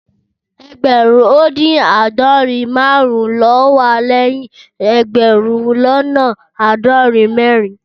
Ẹẹgbẹrun odin aadọrin marun lo wà lẹyìn ẹẹgbẹrun lọnà aadorin mẹrin